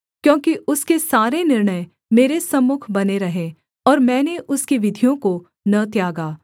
क्योंकि उसके सारे निर्णय मेरे सम्मुख बने रहे और मैंने उसकी विधियों को न त्यागा